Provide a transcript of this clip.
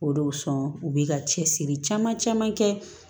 O de kosɔn u be ka cɛsiri caman caman kɛ